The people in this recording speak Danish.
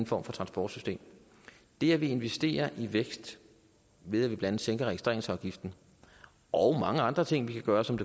form for transportsystem det at vi investerer i vækst ved at vi blandt andet sænker registreringsafgiften og mange andre ting vi kan gøre som